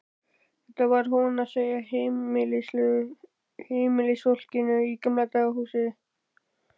Þetta var hún að segja heimilisfólkinu í Gamla húsinu.